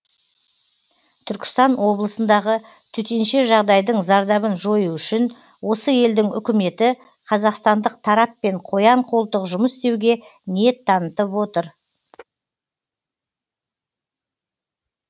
түркістан облысындағы төтенше жағдайдың зардабын жою үшін осы елдің үкіметі қазақстандық тараппен қоян қолтық жұмыс істеуге ниет танытып отыр